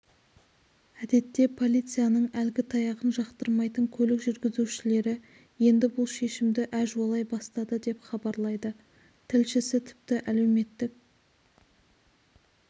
әдетте полицияның әлгі таяғын жақтырмайтын көлік жүргізушілері енді бұл шешімді әжуалай бастады деп хабарлайды тілшісі тіпті әлеуметтік